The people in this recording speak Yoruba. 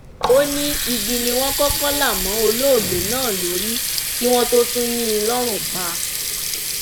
ó ní igi ni wọn kọkọ là mọ olóògbé náà lórí kí wọn tóó tún yìn ín lọrùn pa